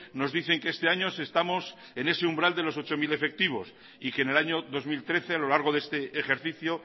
nos dicen que este año estamos en ese umbral de los ocho mil efectivos y que en el año dos mil trece a lo largo de este ejercicio